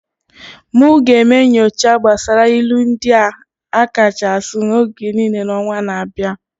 I will do research on the most widely used proverbs of all time next month.